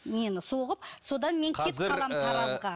мені соғып содан мен